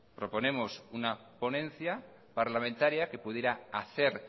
proponemos una ponencia parlamentaria que pudiera hacer